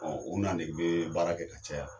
Ɔ u n'a de be baara kɛ ka caya